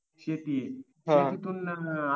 शेती शेतीतून ना